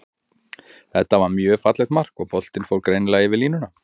Þetta var mjög fallegt mark, og boltinn fór greinilega yfir línuna.